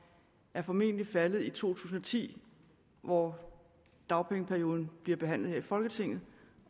er formentlig faldet i to tusind og ti hvor dagpengeperioden bliver behandlet her i folketinget